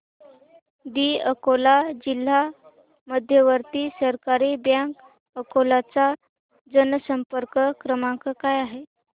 दि अकोला जिल्हा मध्यवर्ती सहकारी बँक अकोला चा जनसंपर्क क्रमांक काय आहे